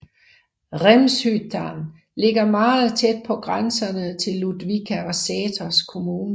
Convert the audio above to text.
Rämshyttan ligger meget tæt på grænserne til Ludvika og Säters kommuner